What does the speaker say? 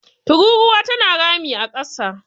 tururuwa tana rami a kasa